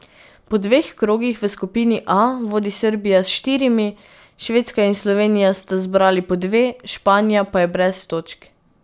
Po dveh krogih v skupini A vodi Srbija s štirimi, Švedska in Slovenija sta zbrali po dve, Španija pa je brez točk.